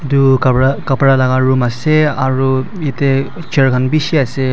tu kabra kabra laka room ase aro yete chair kan bishi ase.